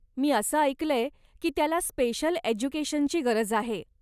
मी असं ऐकलंय की त्याला स्पेशल एज्युकेशनची गरज आहे.